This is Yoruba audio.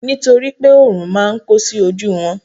nitoripe orun ma n ko sí oju won